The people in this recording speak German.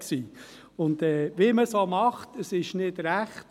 Wie man es auch macht, es ist nicht recht.